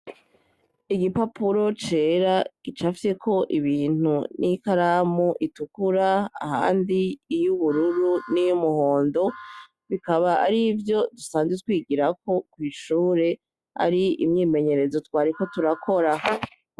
Igipapuro cera gicafyeko ibintu n'ikaramu itukura, ahandi iy'ubururu niy'umuhondo, bikaba arivyo dusanzwe twigirako kw'ishure ari imyimenyerezo twariko turakora.